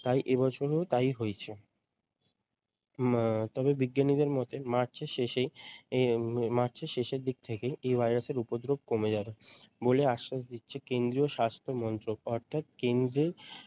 তাই এই বছর ও তাই হয়েছে। উম আহ তবে বিজ্ঞানীদের মতে মার্চের শেষে আহ মার্চের শেষের দিক থেকেই এই ভাইরাসের উপদ্রব কমে যাবে, বলে আশ্বাস দিচ্ছে কেন্দীয় স্বাস্থ্য মন্ত্রক অর্থাৎ কেন্দ্রের